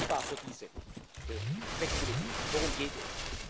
Ich bin dankbar für diese Flexibilität. Worum geht